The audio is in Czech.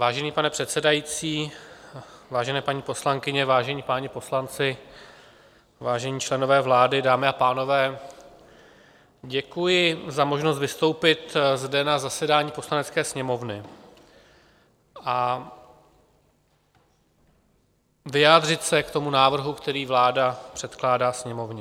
Vážený pane předsedající, vážené paní poslankyně, vážení páni poslanci, vážení členové vlády, dámy a pánové, děkuji za možnost vystoupit zde na zasedání Poslanecké sněmovny a vyjádřit se k tomu návrhu, který vláda předkládá Sněmovně.